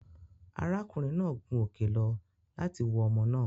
Ará kùnrin náà gun òkè lọ láti wo omo náà